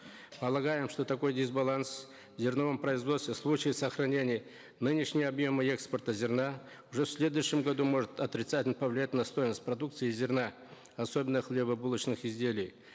полагаем что такой дисбаланс в зерновом производстве в случае сохранения нынешнего объема экспорта зерна уже в следующем году может отрицательно повлиять на стоимость продукции из зерна особенно хлебобулочных изделий